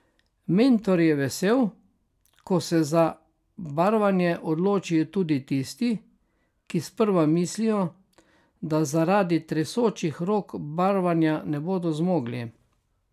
Mentor je vesel, ko se za barvanje odločijo tudi tisti, ki sprva mislijo, da zaradi tresočih rok barvanja ne bodo zmogli.